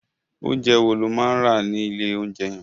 Oúnjẹ wo lo máa rà ní ilé oúnjẹ yẹn?